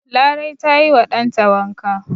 Larai ta yi wa dan ta wanka.